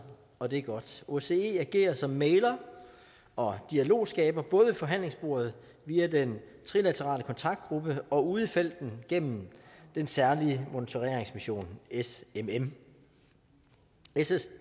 og det er godt osce agerer som mægler og dialogskaber både ved forhandlingsbordet via den trilaterale kontaktgruppe og ude i felten gennem den særlige monitoreringsmission smm